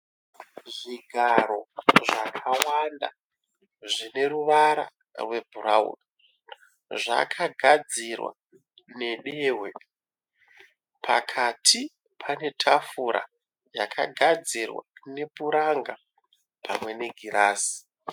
Zvigaro zvakawanda zvine ruvara rwebhurawuni. Zvakagadzirwa nedehwe. Pakati pane tafura yakagadzirwa nepuranga pamwe negirazi.